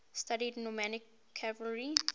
studied nomadic cavalry